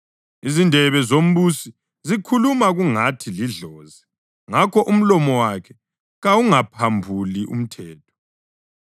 Izindebe zombusi zikhuluma kungathi lidlozi ngakho umlomo wakhe kawungaphambuli umthetho.